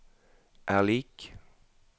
er lik